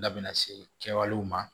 Dabenna se kɛwalew ma